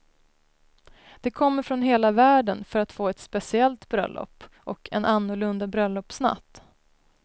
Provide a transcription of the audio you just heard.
De kommer från hela världen för att få ett speciellt bröllop och en annorlunda bröllopsnatt.